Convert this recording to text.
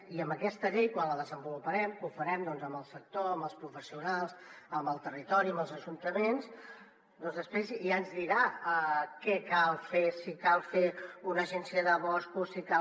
i aquesta llei quan la desenvoluparem que ho farem amb el sector amb els professionals amb el territori amb els ajuntaments doncs després ja ens dirà què cal fer si cal fer una agència de boscos si cal